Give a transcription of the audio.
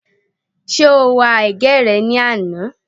Ṣé o wa ẹ̀gẹ́ rẹ ní àná?